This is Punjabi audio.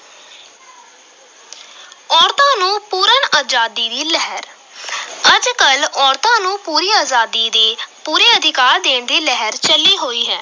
ਔਰਤਾਂ ਨੂੰ ਪੂਰਨ ਆਜ਼ਾਦੀ ਦੀ ਲਹਿਰ ਅੱਜ ਕੱਲ੍ਹ ਔਰਤਾਂ ਨੂੰ ਪੂਰੀ ਆਜ਼ਾਦੀ ਦੀ, ਪੂਰੇ ਅਧਿਕਾਰ ਦੇਣ ਦੀ ਲਿਹਰ ਚੱਲੀ ਹੋਈ ਹੈ।